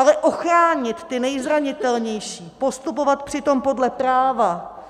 Ale ochránit ty nejzranitelnější, postupovat přitom podle práva,